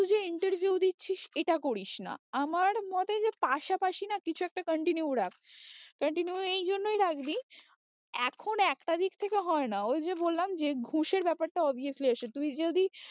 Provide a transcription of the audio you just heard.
শুধু যে interview দিচ্ছিস এটা করিস না আমার মতে যে পাশাপাশি না কিছু একটা continue রাখ continue এই জন্যই রাখবি এখন একটা দিক থেকে হয়ে না ওই যে বললাম যে ঘুষের ব্যাপারটা obviously আসে, তুই যদি